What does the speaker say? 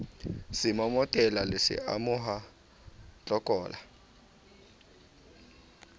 semomotela le se amoha tlokola